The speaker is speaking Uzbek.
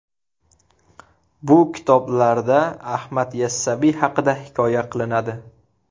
Bu kitoblarda Ahmad Yassaviy haqida hikoya qilinadi.